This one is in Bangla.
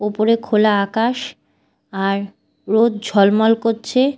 ওপরে খোলা আকাশ আর রোদ ঝলমল করছে।